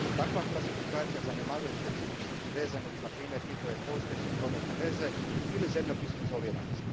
Takva klasifikacija zanemaruje specifičnosti vezane uz na primjer njihove postojeće prometne veze ili zemljopisnu izoliranost.